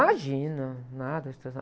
Imagina, nada de tradicional.